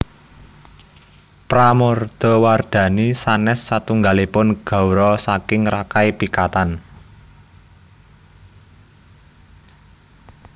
Pramodawardhani sanes satunggalipun gawra saking Rakai Pikatan